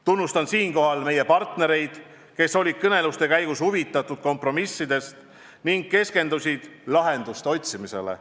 Tunnustan siinkohal meie partnereid, kes olid kõneluste käigus huvitatud kompromissidest ning keskendusid lahenduste otsimisele.